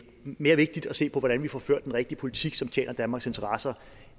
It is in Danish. mere vigtigt at se på hvordan vi får ført den rigtige politik som tjener danmarks interesser